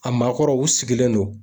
A maakɔrɔ u sigilen don.